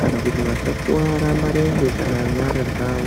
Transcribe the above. Kana kuti vasakuvara mirenje kana nyara dzavo.